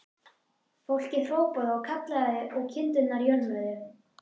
Fólkið hrópaði og kallaði og kindurnar jörmuðu.